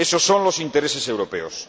Ésos son los intereses europeos.